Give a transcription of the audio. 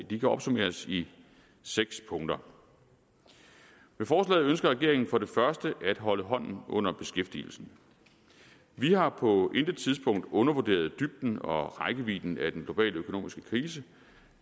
de kan opsummeres i seks punkter med forslaget ønsker regeringen for det første at holde hånden under beskæftigelsen vi har på intet tidspunkt undervurderet dybden og rækkevidden af den globale økonomiske krise